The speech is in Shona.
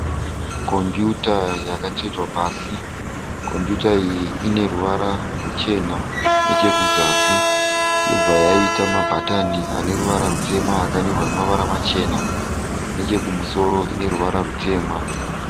Computer yakatsvetwa pasi. Computer iyi ine ruvara ruchena. Nechekuzasi yobva yaita mabhatani ane ruvara rutema akanyorwa nemavara machena. Nechekumusoro ine ruvara rutema.